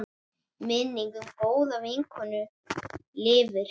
Minning um góða vinkonu lifir.